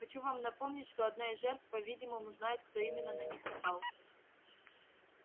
хочу вам напомнить что одна из жертв по-видимому знает кто именно на них напал